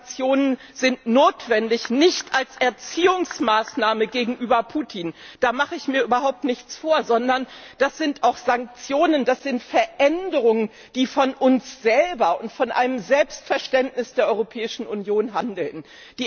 Diese Sanktionen sind notwendig, nicht als Erziehungsmaßnahme gegenüber Putin da mache ich mir überhaupt nichts vor sondern das sind Sanktionen, das sind Veränderungen, die Ausdruck unseres Selbstverständnisses der Europäischen Union sind.